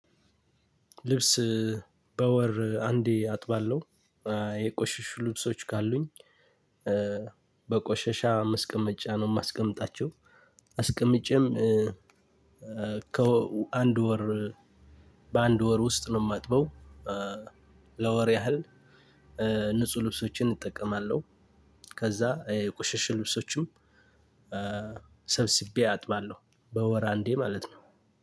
ልብስ በወር አንዴ አጥባለሁ የቆሽሽ ልብሶች ካሉኝ በቆሸሻ መስቀመጫ ነው የማስቀምጣቸው አስቀምጬም ከአንድ ወር በአንድ ወር ውስጥ ነው እማጥበው። ለወር ያህል ንጹህ ልብሶችን እጠቀማለሁ። ከዛ የቁሽሽ ልብሶችም ሰብስቤ አጥባለሁ። በወር አንዴ ማለት ነው።